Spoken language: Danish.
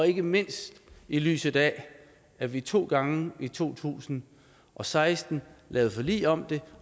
ikke mindst i lyset af at vi to gange i to tusind og seksten lavede forlig om det